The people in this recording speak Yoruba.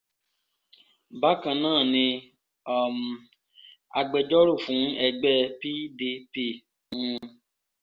bákan náà ni um agbẹjọ́rò fún ẹgbẹ́ pdp n